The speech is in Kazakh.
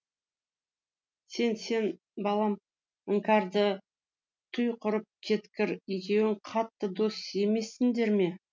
сен сен балам іңкәрді туй құрып кеткір екеуің қатты дос емессіңдер ме